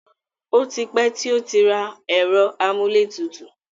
O ti pẹ́ tí ó rà ẹ̀rọ amúlétutù.